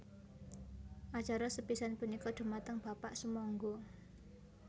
Acara sepisan punika dhumateng Bapak sumangga